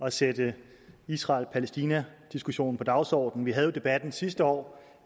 at sætte israel palæstina diskussionen på dagsordenen vi havde jo debatten sidste år